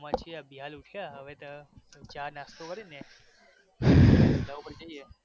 છીએ અભિ હાલ ઉઠ્યા હવે ચા નાસ્તો કરી ને ધંધા ઉપર જઈએ